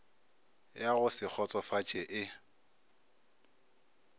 ya go se kgotšofatše e